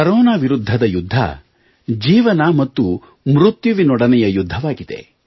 corona ವಿರುದ್ಧದ ಯುದ್ಧ ಜೀವನ ಮತ್ತು ಮೃತ್ಯುವಿನೊಡನೆಯ ಯುದ್ಧವಾಗಿದೆ